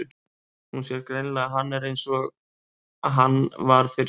Hún sér greinilega að hann er einsog hann var fyrir slysið.